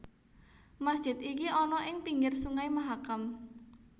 Masjid iki ana ing pinggir Sungai Mahakam